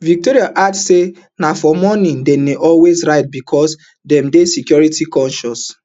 victory add say na for morning dem dey always ride becos dem dey security concious